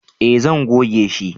eh zan goge shi